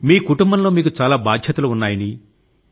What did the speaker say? మీ కుటుంబంలో మీకు చాలా బాధ్యతలు ఉన్నాయని